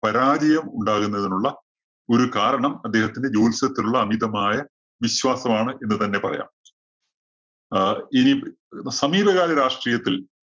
പരാജയം ഉണ്ടാകുന്നതിനുള്ള ഒരു കാരണം അദ്ദേഹത്തിന്റെ ജ്യോത്സ്യത്തിലുള്ള അമിതമായ വിശ്വാസമാണ് എന്ന് തന്നെ പറയാം. ആഹ് ഇനി സമീപകാല രാഷ്ട്രീയത്തില്‍